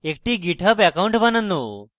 একটি github account বানানো